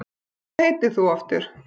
Hvað heitir þú aftur?